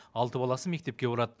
алты баласы мектепке барады